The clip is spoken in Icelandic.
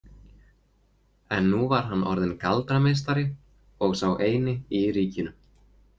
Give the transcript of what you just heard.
En nú var hann orðinn galdrameistari og sá eini í ríkinu.